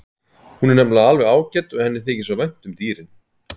Hún er nefnilega alveg ágæt og henni þykir svo vænt um dýrin.